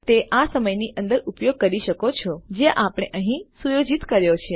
અને તમે તે આ સમયની અંદર ઉપયોગ કરી શકો છો જે આપણે અહીં સુયોજિત કર્યો છે